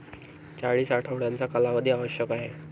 चाळीस आठवड्यांचा कालावधी आवश्यक आहे.